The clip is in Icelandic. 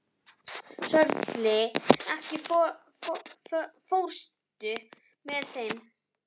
Sörli, ekki fórstu með þeim?